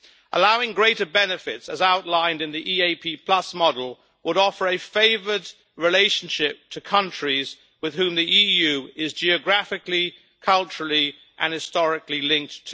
Allowing greater benefits as outlined in the EAP model would offer a favoured relationship to countries with whom the EU is geographically, culturally and historically linked.